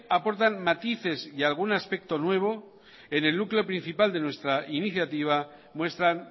aportan matices y algún aspecto nuevo en el núcleo principal de nuestra iniciativa muestran